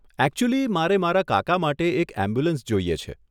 Actually મારે મારા કાકા માટે એક એમ્બ્યુલન્સ જોઈએ છે.